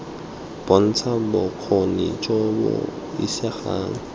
bontsha bokgoni jo bo isegang